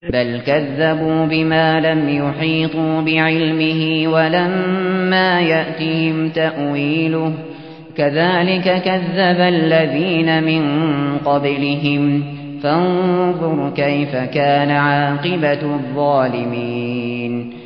بَلْ كَذَّبُوا بِمَا لَمْ يُحِيطُوا بِعِلْمِهِ وَلَمَّا يَأْتِهِمْ تَأْوِيلُهُ ۚ كَذَٰلِكَ كَذَّبَ الَّذِينَ مِن قَبْلِهِمْ ۖ فَانظُرْ كَيْفَ كَانَ عَاقِبَةُ الظَّالِمِينَ